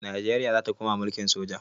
Najeriya za ta koma mulkin soja.